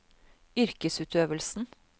yrkesutøvelsen